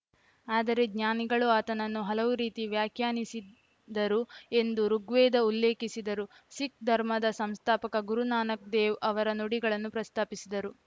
ಆದರೆ ಜ್ಞಾನಿಗಳು ಆತನನ್ನು ಹಲವು ರೀತಿ ವ್ಯಾಖ್ಯಾನಿಸಿದರು ಎಂದು ಋುಗ್ವೇದ ಉಲ್ಲೇಖಿಸಿದರು ಸಿಖ್‌ ಧರ್ಮದ ಸಂಸ್ಥಾಪಕ ಗುರು ನಾನಕ್ ದೇವ್‌ ಅವರ ನುಡಿಗಳನ್ನೂ ಪ್ರಸ್ತಾಪಿಸಿದರು